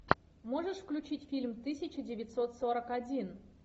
можешь включить фильм тысяча девятьсот сорок один